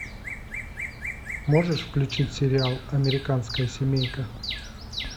можешь включить сериал американская семейка